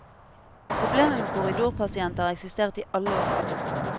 Problemet med korridorpasienter har eksistert i alle år.